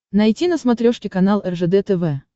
найти на смотрешке канал ржд тв